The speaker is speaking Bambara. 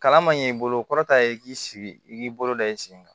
Kalan man ɲɛ i bolo kɔrɔ ta ye k'i sigi i k'i bolo da i sen kan